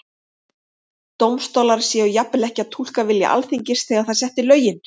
Dómstólar séu jafnvel ekki að túlka vilja Alþingis þegar það setti lögin?